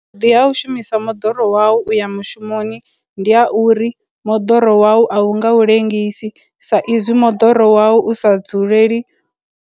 vhuḓi ha u shumisa moḓoro wau u ya mushumoni ndi ha uri moḓoro wau a u nga u ḽengisa sa izwi moḓoro wau u sa dzuleli.